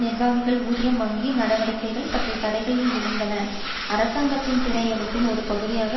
வங்கி நடவடிக்கைகள் பற்றிய தடைகள் இருந்தன அரசாங்கத்தின் பிணை எடுப்பின் ஒரு பகுதியாக அவை சுமத்த பட்டிருந்தன